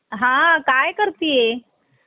निर्मल शब्द अमृतवाणी